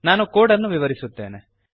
ನಾನು ಕೋಡ್ ಅನ್ನು ವಿವರಿಸುತ್ತೇನೆ